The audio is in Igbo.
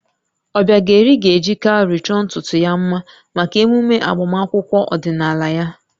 Obiageli ga-eji cowry chọọ ntutu ya mma maka emume agbamakwụkwọ ọdịnala ya